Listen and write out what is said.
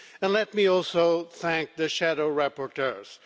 Let me also thank the shadow rapporteurs.